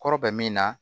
Kɔrɔ bɛ min na